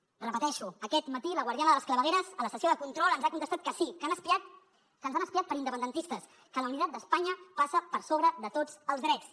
ho repeteixo aquest matí la guardiana de les clavegueres a la sessió de control ens ha contestat que sí que han espiat que ens han espiat per independentistes que la unitat d’espanya passa per sobre de tots els drets